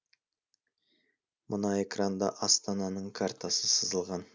мына экранда астананың картасы сызылған